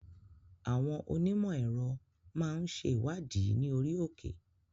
Àwọn Onímò èrò máa ń ṣe ìwádìí ní orí òkè.